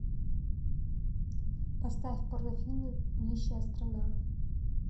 поставь порнофильмы нищая страна